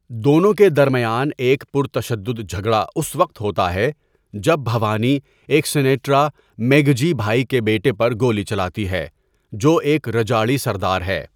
دونوں کے درمیان ایک پرتشدد جھگڑا اس وقت ہوتا ہے جب بھوانی، ایک سنیڑا، میگھجی بھائی کے بیٹے پر گولی چلاتی ہے، جو ایک رجاڑی سردار ہے۔